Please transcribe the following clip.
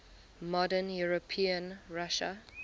modern european russia